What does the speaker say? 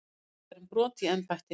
Sakaðir um brot í embætti